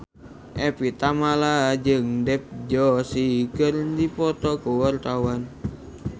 Evie Tamala jeung Dev Joshi keur dipoto ku wartawan